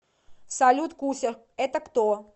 салют куся это кто